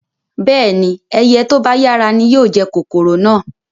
Bẹ́ẹ̀ni, ẹyẹ to ba yara ni yóò jẹ kòkòrò náà